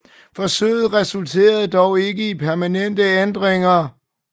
Forsøget resulterede dog ikke i permanente ændringer